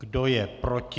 Kdo je proti?